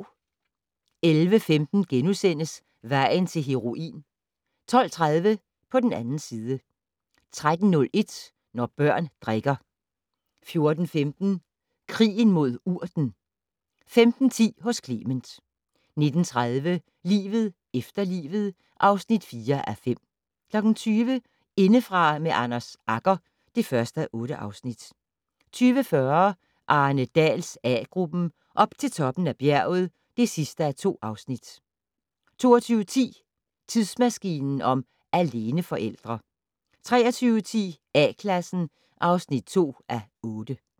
11:15: Vejen til heroin * 12:30: På den 2. side 13:01: Når børn drikker 14:15: Krigen mod urten 15:10: Hos Clement 19:30: Livet efter livet (4:5) 20:00: Indefra med Anders Agger (1:8) 20:40: Arne Dahls A-gruppen: Op til toppen af bjerget (2:2) 22:10: Tidsmaskinen om aleneforældre 23:10: A-Klassen (2:8)